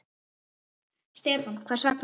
Stefán: Hvers vegna?